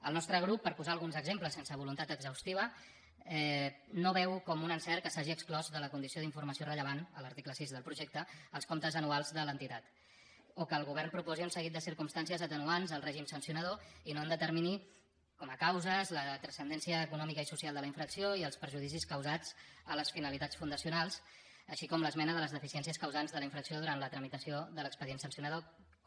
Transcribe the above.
el nostre grup per posar ne alguns exemples sense voluntat exhaustiva no veu com un encert que s’hagin exclòs de la condició d’informació rellevant a l’article sis del projecte els comptes anuals de l’entitat o que el govern proposi un seguit de circumstàncies atenuants al règim sancionador i no en determini com a causes la transcendència econòmica i social de la infracció ni els perjudicis causats a les finalitats fundacionals així com l’esmena de les deficiències causants de la infracció durant la tramitació de l’expedient sancionador com